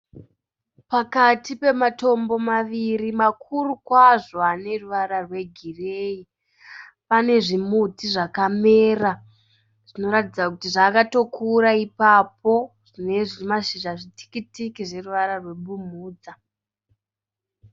Pakati pematombo maviri makuru kwazvo aneruvara rwe gireyi, pane zvimiti zvakamera zvinoratidza kuti zvakatokura ipapo , zvine mashizha matikitiki zvine ruvara rwe bumhudza.